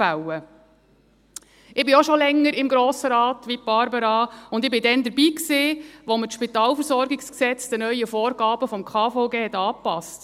Ich bin, wie Barbara Mühlheim, auch schon länger im Grossen Rat, und ich war damals dabei, als wir das SpVG den neuen Vorgaben des KVG angepassten.